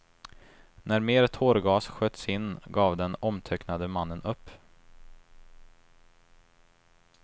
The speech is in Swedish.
När mer tårgas sköts in gav den omtöcknade mannen upp.